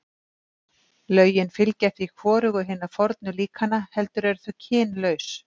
Lögin fylgja því hvorugu hinna fornu líkana, heldur eru þau kynlaus.